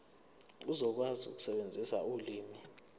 uzokwazi ukusebenzisa ulimi